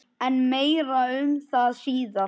En meira um það síðar.